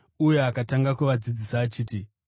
uye akatanga kuvadzidzisa achiti: